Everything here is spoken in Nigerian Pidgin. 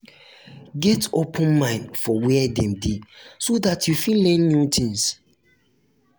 get open mind for where dem de so that you fit learn new things